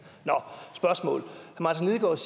nå